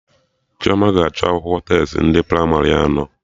Chioma ga-achọ akwụkwọ testi ndị pramarị anọ